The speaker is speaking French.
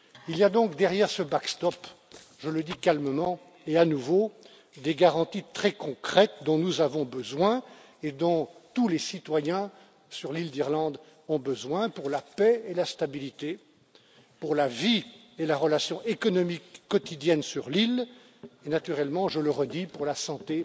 Il y a donc derrière ce backstop, je le dis calmement et à nouveau, des garanties très concrètes dont nous avons besoin et dont tous les citoyens, sur l'île d'Irlande, ont besoin pour la paix et la stabilité, pour la vie et la relation économique quotidienne sur l'île et naturellement, je le redis, pour la santé